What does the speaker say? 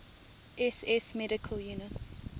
ss medical units